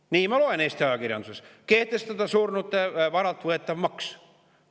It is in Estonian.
Nii ma loen Eesti ajakirjandusest: kehtestada surnute varalt võetav maks.